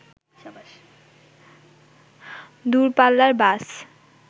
দূরপাল্লার বাস